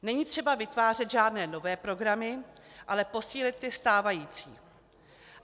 Není třeba vytvářet žádné nové programy, ale posílit ty stávající.